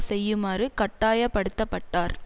செய்யுமாறு கட்டாய படுத்த பட்டார்